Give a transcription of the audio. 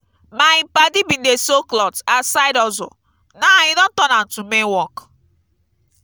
my padi bin dey sew clot as side hustle now e don turn am to main work.